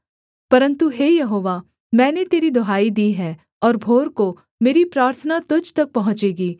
परन्तु हे यहोवा मैंने तेरी दुहाई दी है और भोर को मेरी प्रार्थना तुझ तक पहुँचेगी